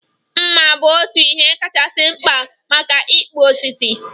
Mma bu otu ihe kachasị mkpa maka ịkpụ osisi